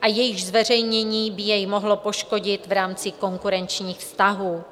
a jejichž zveřejnění by jej mohlo poškodit v rámci konkurenčních vztahů.